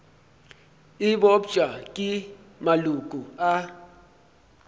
e bopša ke maloko a